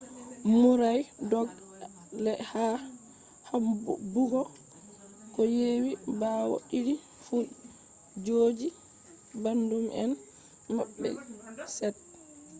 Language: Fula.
murray dog`i ha habbugo ko yewi bawo didi fu joji bandun em mabbe set